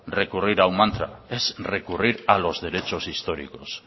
recurrir a un mantra es recurrir a los derechos históricos